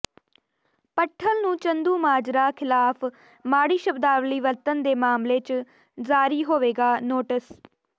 ਭੱਠਲ ਨੂੰ ਚੰਦੂਮਾਜਰਾ ਖਿਲਾਫ ਮਾੜੀ ਸ਼ਬਦਾਵਲੀ ਵਰਤਣ ਦੇ ਮਾਮਲੇ ਚ ਜਾਰੀ ਹੋਵੇਗਾ ਨੋਟਿਸ